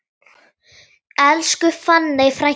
Elsku fanney frænka.